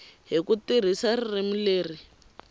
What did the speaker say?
hi ku tirhisa ririmi leri